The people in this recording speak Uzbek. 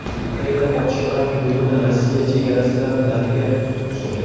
Ukraina otishmalar hududini Rossiya chegarasidan nariga surdi.